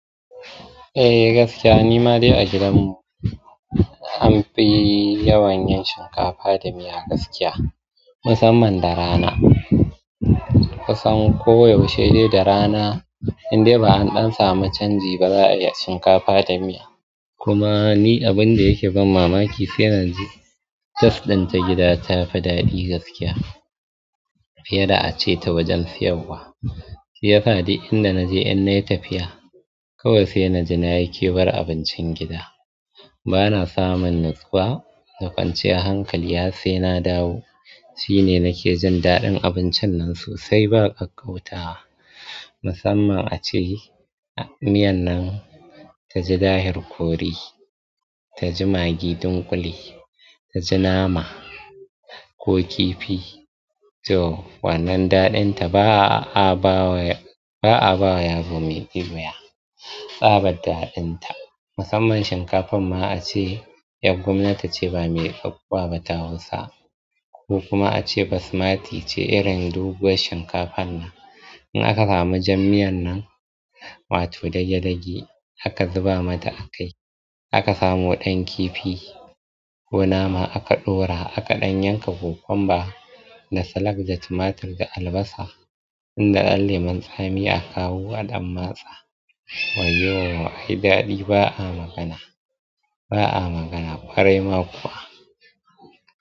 Eh gaskiya ni ma dai a gidan mu an fi yawan yin shinkafa da miya gaskiya musamman da rana. Kusan ko yaushe dai da rana in dai ba an ɗan samu canji ba za a iya shinkafa da miya. Kuma ni abin da yake ban mamaki sai na ji taste din ta gida tafi daɗi gaskiya fiye da ace ta wajen siyarwa. Shi ya sa duk inda na je in na yi tafiya kawai sai na ji na yi kewar abincin gida. Bana samun nutsuwa da kwanciyar hankali har sai na dawo. Shi ne nake jin daɗin abincin nan sosai ba ƙakkautawa. Musamman a ce miyan nan ta ji dahir ƙori, ta ji magi dunƙule, ta ji nama ko kifi. To wannan daɗin ta ba a ba wa, ba a ba wa yaro mai ƙuya tsabar daɗin ta. Musamman shinkafar ma ace ƴar gwamnati ce ba mai tsakuwa ba ta Hausa ko kuma ace Basmati ce irin doguwar shinkafar nan. In aka samu jan miyan nan, wato dage dage aka zuba mata a kai. Aka samo ɗan kifi ko nama aka ɗora aka ɗan yanka kokwamba da salak da tumatur da albasa. Inda ɗan lemon tsami a kawo a ɗan matsa. Wayyo ai daɗi ba a magana, ba a magana ƙwarai ma kuwa.